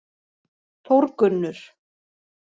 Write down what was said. Þórgunnur